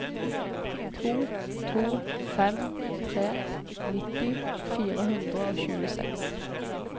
to to fem tre nitti fire hundre og tjueseks